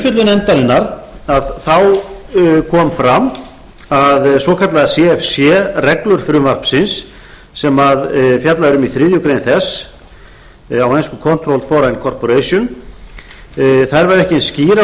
fyrir skuldum í umfjöllun nefndarinnar kom fram að svokallaðar cfc reglur frumvarpsins sem fjallað er um í þriðju greinar þess á ensku controlled foreign corporation væru ekki eins skýrar og